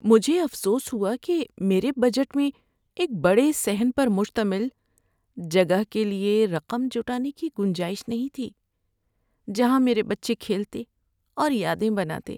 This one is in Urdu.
مجھے افسوس ہوا کہ میرے بجٹ میں ایک بڑے صحن پر مشتمل جگہ کے لیے رقم جٹانے کی گنجائش نہیں تھی جہاں میرے بچے کھیلتے اور یادیں بناتے۔